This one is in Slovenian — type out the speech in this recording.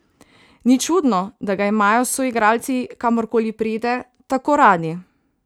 Ni čudno, da ga imajo soigralci, kamorkoli pride, tako radi.